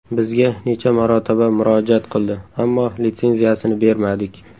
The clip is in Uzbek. Bizga necha marotaba murojaat qildi, ammo litsenziyasini bermadik.